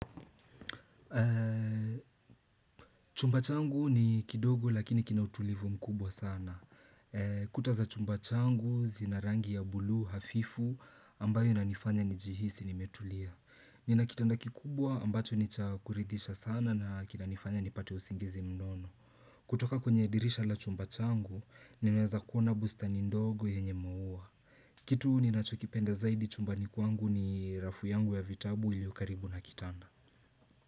Chumba changu ni kidogo lakini kina utulivu mkubwa sana. Kuta za chumba changu zina rangi ya bluu hafifu ambayo inanifanya nijihisi nimetulia. Nina kitanda kikubwa ambacho ni cha kuridhisha sana na kinanifanya nipate usingizi mnono. Kutoka kwenye dirisha la chumba changu, nimeweza kuona bustani ndogo yenye maua. Kitu ninachokipenda zaidi chumbani kwangu ni rafu yangu ya vitabu iliyo karibu na kitanda.